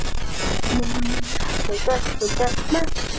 Ingimar: Er þetta þín tilraun til þess að bjarga þessari ríkisstjórn?